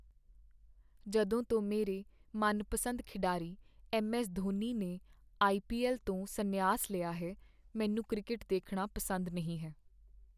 ਜਦੋਂ ਤੋਂ ਮੇਰੇ ਮਨਪਸੰਦ ਖਿਡਾਰੀ ਐੱਮ. ਐੱਸ. ਧੋਨੀ ਨੇ ਆਈ. ਪੀ. ਐੱਲ. ਤੋਂ ਸੰਨਿਆਸ ਲਿਆ ਹੈ, ਮੈਨੂੰ ਕ੍ਰਿਕਟ ਦੇਖਣਾ ਪਸੰਦ ਨਹੀਂ ਹੈ।